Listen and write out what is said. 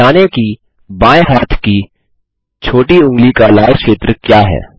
जानें कि दायें हाथ की छोटी ऊँगली की लाल क्षेत्र क्या है